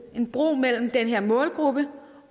en bro mellem den her målgruppe